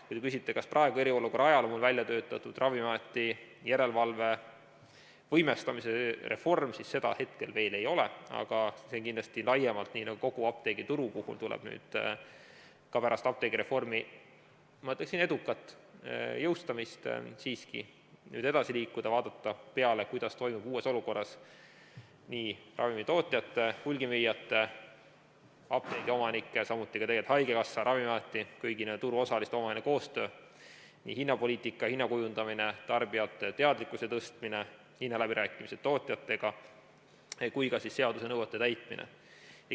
Kui te küsite, kas praegu, eriolukorra ajal on välja töötatud Ravimiameti järelevalve võimestamise reform, siis seda hetkel veel ei ole, aga sellega kindlasti laiemalt, nii nagu kogu apteegituru puhul, tuleb pärast apteegireformi, ma ütleksin, edukat jõustamist siiski edasi liikuda, vaadata, kuidas toimub uues olukorras ravimitootjate, hulgimüüjate, apteegiomanike, samuti haigekassa, Ravimiameti, kõigi nende turuosaliste omavaheline koostöö, hinnapoliitika, hinna kujundamine, tarbijate teadlikkuse tõstmine, hinnaläbirääkimised tootjatega ja ka seaduse nõuete täitmine.